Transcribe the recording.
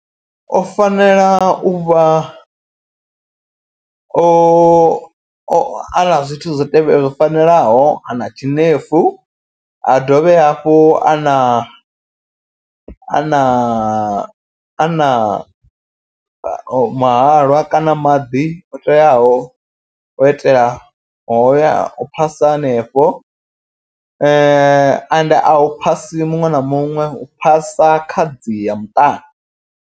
O fanela uvha o a na zwithu zwo zwo fanelaho a na tshinefu. Ha dovhe hafhu a na ana a na mahalwa kana maḓi o teaho o itela hoya u phasa hanefho. Ende a hu phasi muṅwe na muṅwe hu phasa khadzi ya muṱani.